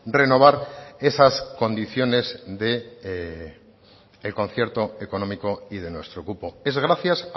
renovar esas condiciones del concierto económico y de nuestro cupo es gracias